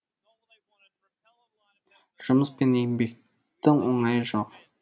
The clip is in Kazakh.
жұмыс пен еңбектің оңайы жоқ